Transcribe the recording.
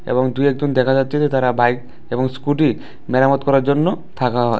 দুই একজন দেখা যাচ্ছে যে তারা বাইক এবং স্কুটি মেরামত করার জন্য থাকা হয়।